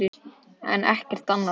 en ekkert annað.